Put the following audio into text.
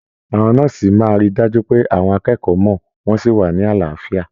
Àwọn nọ́ọ́sì máa rí dájú pé àwọn akẹ́kọ̀ọ́ mọ, wọn sí wá ní àlàáfíà.